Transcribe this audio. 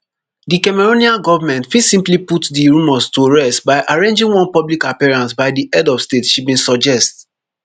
di cameroonian govment fit simply put di rumours to rest by arranging one public appearance by di head of state she bin suggest